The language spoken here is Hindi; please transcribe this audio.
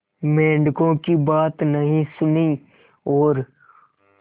मेंढकों की बात नहीं सुनी और